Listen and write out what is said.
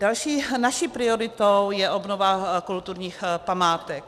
Další naší prioritou je obnova kulturních památek.